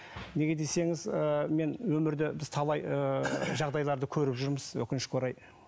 неге десеңіз ы мен өмірде біз талай ыыы жағдайларды көріп жүрміз өкінішке орай